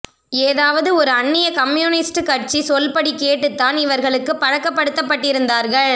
ஏதாவது ஒரு அன்னிய கம்யூனிஸ்ட் கட்சி சொல்படி கேட்டுத்தான் இவர்களுக்குப் ப்ழக்கப் படுத்தப்பட்டிருந்தார்கள்